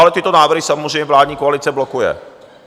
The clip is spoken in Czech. Ale tyto návrhy samozřejmě vládní koalice blokuje.